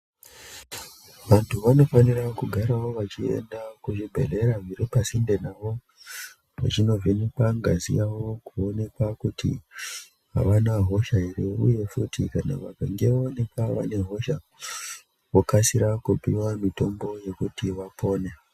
Vantu vanofanira kugara vachienda pazvibhedhlera zviripasinde navo, vachindovhenekwa ngazi yavo kuonekwa kuti avana hosha ere, uye futi vakange vaonekwa vane hosha vokasira kupuwa mitombo yekuti vapone.